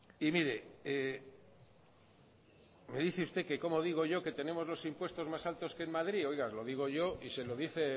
y mire me dice usted que cómo digo yo que tenemos los impuestos más altos que en madrid oiga lo digo yo y se lo dice